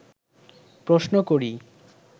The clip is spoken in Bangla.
প্রশ্ন করি